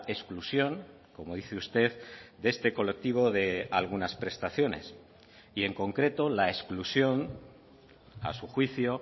exclusión como dice usted de este colectivo de algunas prestaciones y en concreto la exclusión a su juicio